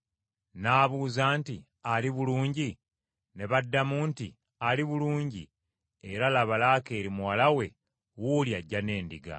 N’abuuza nti, “Ali bulungi?” Ne baddamu nti, “Ali bulungi, era laba Laakeeri muwala we wuuli ajja n’endiga!”